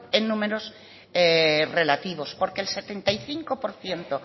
en números relativos porque el setenta y cinco por ciento